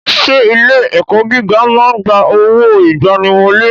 Ṣé ilé ẹ̀kọ́ gíga ẹ máa ń gba owó ìgbaniwọlé?